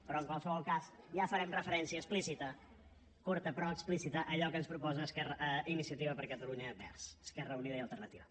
però en qualsevol cas ja farem referència explícita curta però explícita a allò que ens proposa iniciativa per catalunya verds esquerra unida i alternativa